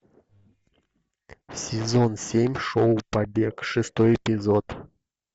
сезон семь шоу побег шестой эпизод